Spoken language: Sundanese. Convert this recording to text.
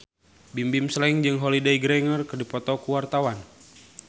Bimbim Slank jeung Holliday Grainger keur dipoto ku wartawan